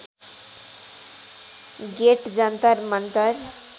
get Jantar Mantar